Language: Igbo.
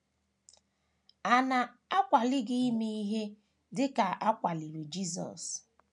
À Na - akwali Gị Ime Ihe Dị Ka A Kwaliri Jisọs?